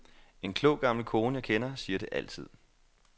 En klog gammel kone, jeg kender, siger det altid.